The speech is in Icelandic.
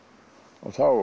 og þá